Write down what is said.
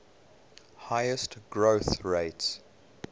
highest growth rates